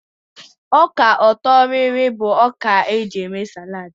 Ọka ọtọrịrị bụ ọka e ji eme sálàd.